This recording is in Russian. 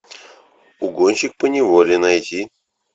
угонщик по неволе найди